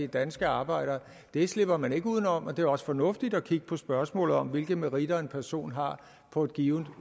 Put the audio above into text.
danske arbejdere det slipper man ikke udenom og det er også fornuftigt at kigge på spørgsmålet om hvilke meritter en person har på et givent